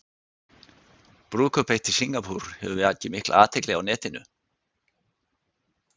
Brúðkaup eitt í Singapúr hefur vakið mikla athygli á netinu.